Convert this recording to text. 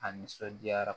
A nisɔndiyara